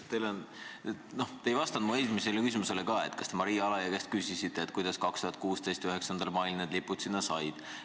Te ei vastanud mu esimesele küsimusele, kas te Maria Alajõe käest küsisite, kuidas 2016. aasta 9. mail need lipud sinna said.